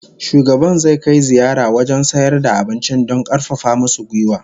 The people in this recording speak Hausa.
Shugaban zai kai ziyara wajen sayar da abincin don karfafa musu gwiwa